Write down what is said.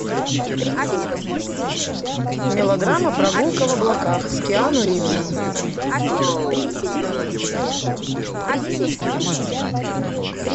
мелодрама прогулка в облаках с киану ривзом